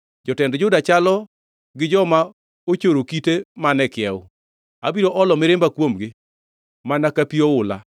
Jotend Juda chalo gi joma ochoro kite man e kiewo. Abiro olo mirimba kuomgi mana ka pi oula.